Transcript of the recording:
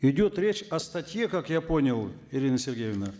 идет речь о статье как я понял ирина сергеевна